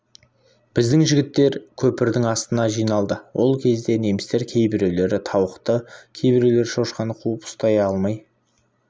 біздің жігіттер көпірдің астына жиналды ол кезде немістер кейбіреулері тауықты кейбіреулері шошқаны қуып ұстай алмай